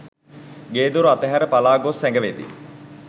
ගේදොර අතහැර පලාගොස් සැගවෙති.